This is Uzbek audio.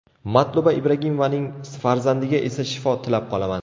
Matluba Ibragimovaning farzandiga esa shifo tilab qolaman.